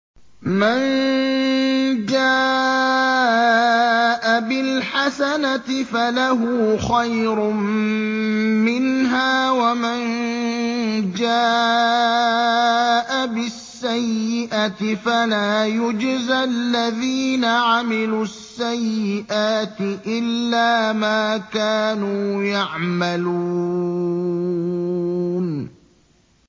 مَن جَاءَ بِالْحَسَنَةِ فَلَهُ خَيْرٌ مِّنْهَا ۖ وَمَن جَاءَ بِالسَّيِّئَةِ فَلَا يُجْزَى الَّذِينَ عَمِلُوا السَّيِّئَاتِ إِلَّا مَا كَانُوا يَعْمَلُونَ